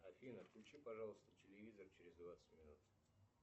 афина включи пожалуйста телевизор через двадцать минут